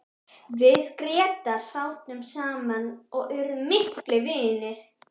Við Grétar sátum saman og urðum miklir vinir.